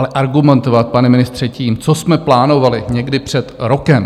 Ale argumentovat, pane ministře, tím, co jsme plánovali někdy před rokem...